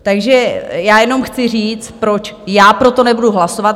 Takže já jenom chci říct, proč já pro to nebudu hlasovat.